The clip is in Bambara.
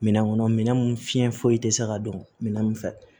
Minɛn kɔnɔ minɛn mun fiɲɛ foyi tɛ se ka don minɛn mun fɛ